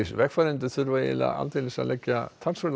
vegfarendur þurfa aldeilis að leggja